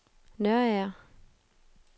Nørager